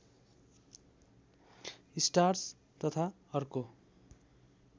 starch तथा अर्को